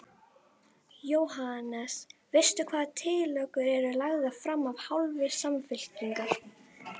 Jóhannes: Veistu hvaða tillögur eru lagðar fram af hálfu Samfylkingar?